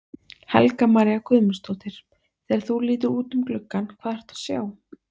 Helga María Guðmundsdóttir: Þegar þú lítur út um gluggann, hvað ertu að sjá?